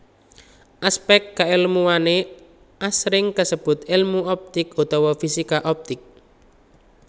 Aspèk kaèlmuwané asring disebut èlmu optik utawa fisika optik